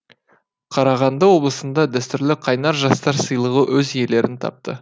қарағанды облысында дәстүрлі қайнар жастар сыйлығы өз иелерін тапты